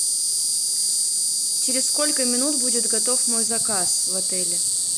через сколько минут будет готов мой заказ в отеле